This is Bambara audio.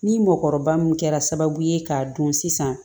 Ni mɔkɔrɔba min kɛra sababu ye k'a dɔn sisan